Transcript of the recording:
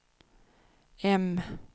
M